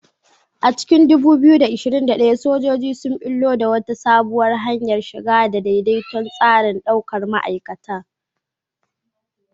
A cikin 2021, sojoji sun ɓullo da wata sabuwar hanyar shiga, ta daidaita tsarin daukar ma'aikata.